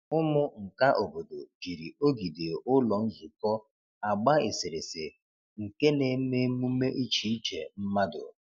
Ụmụ nka obodo jiri ogidi ụlọ nzukọ agba eserese nke na-eme emume iche iche mmadụ.